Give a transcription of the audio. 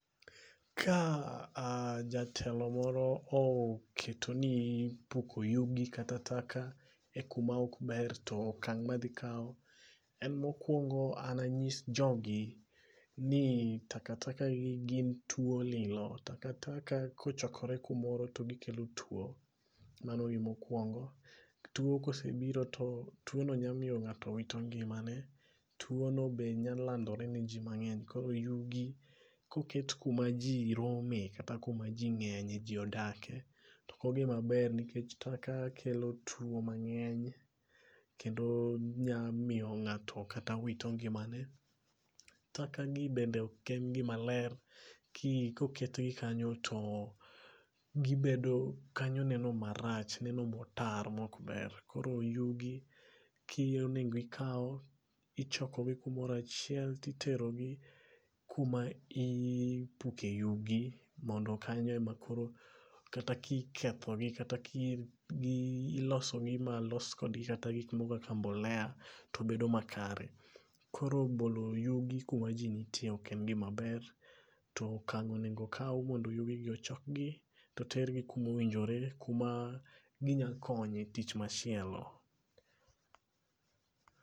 Ka ja jatelo moro oketo ni puko yugi kata taka e kuma ok ber to okang madhi kao en mokuongo an anyis jogi ni taka taka gin gi tuo lilo, taka taka kochokre kumoro to gikelo tuo, mano gima okuongo. Tuo kosebiro to tuono nyalo miyo ng'ato wito ngimane, tuo no be nyao landore ne jii mangeny. Koro yugi, koket kuma jii rome, kata kuma jii ngenye jii odake to ok ogima br nikech taka kelo tuo mangeny kendol nya miyo ngato kakata wito ngimane .Taka gi bende oken gima ler, koket gi kanyo to gibedo ,kanyo neno marach, neno motar maok ber, koro yugi onego ikao, ichoko gi kumoro achiel titero gi kuma ipuke yugi mondo kanyo ema koro kata kiketho gi kata ki ilosogi malos kodgi kata gik moko kaka mbolea to bedo makare. Koro bolo yugi kuma jii nitie oken gima er to okang onego okao mar choko yugi gi to ter kuma owinjore kuma ginya konyo e tich machielo